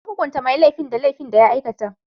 An hukunta mai laifin da laifin da ya aikata.